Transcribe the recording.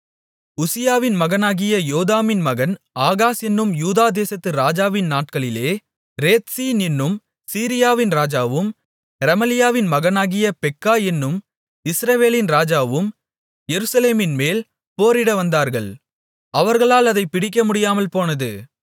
உசியாவின் மகனாகிய யோதாமின் மகன் ஆகாஸ் என்னும் யூதாதேசத்து ராஜாவின் நாட்களிலே ரேத்சீன் என்னும் சீரியாவின் ராஜாவும் ரெமலியாவின் மகனாகிய பெக்கா என்னும் இஸ்ரவேலின் ராஜாவும் எருசலேமின்மேல் போரிடவந்தார்கள் அவர்களால் அதைப் பிடிக்கமுடியாமல் போனது